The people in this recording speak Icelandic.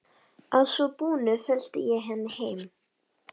Í síðasta lagi strax eftir áramót.